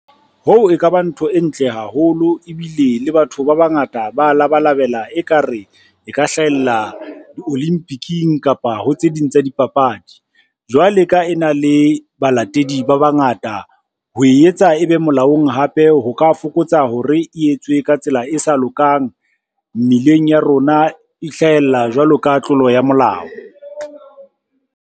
Hoo e ka ba ntho e ntle haholo, ebile le batho ba bangata ba labalabela e ka re e ka hlahella di-olympic-ing kapa ho tse ding tsa dipapadi. Jwale ka e na le balatedi ba bangata, ho e etsa e be molaong hape ho ka fokotsa hore e etsuwe ka tsela e sa lokang mmileng ya rona e hlahella jwalo ka tlolo ya molao.